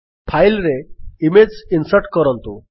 file ରେ ଗୋଟିଏ image insert କରନ୍ତୁ